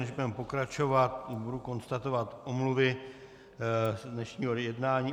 Než budeme pokračovat, budu konstatovat omluvy z dnešního jednání.